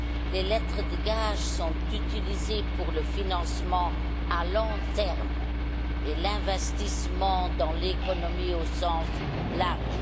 Les lettres de gage sont utilisées pour le financement à long terme et l'investissement dans l'économie au sens large.